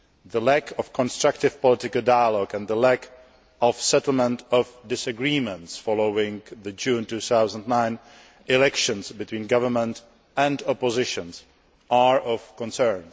The lack of constructive political dialogue and the lack of a settlement of disagreements, following the June 2009 elections, between government and opposition are of concern.